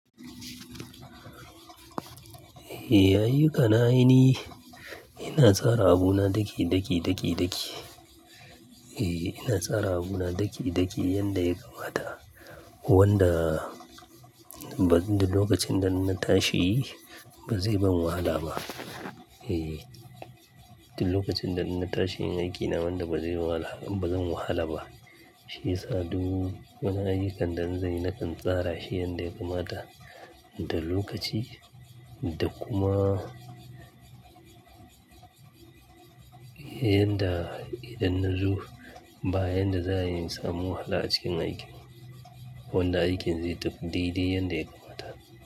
Ehh, ayyukana aini ina tsara abuna daki, daki, daki, daki. Eeh ina tsara abuna daki, daki yanda ya kamata wanda duk lokacin da na tashi ba zai ban wahala ba. Eeh, duk lokacin da na tashi aikin na wanda bazai wahala, bazan wahala ba. Shi ya sa duk wani ayyukan da zan yi na kan tsara shi yanda ya kamata da lokaci da kuma yanda idan na zo ba yanda za'a yi samun wahala cikin aikin. Wanda aikin zai tafi daidai yanda ya kamata.